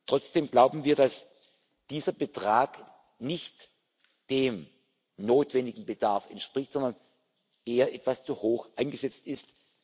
haben. Trotzdem glauben wir, dass dieser Betrag nicht dem notwendigen Bedarf entspricht, sondern eher etwas zu hoch angesetzt